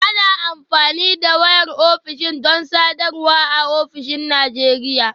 Ana amfani da wayar ofishin don sadarwa a ofisoshin Najeriya